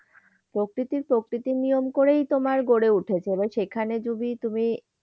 প্রকৃতি প্রকৃতির নিয়ম করেই তোমার গড়ে উঠেছে। এবার সেখানে যদি তুমি